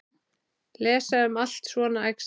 Lesa allt um svona æxli?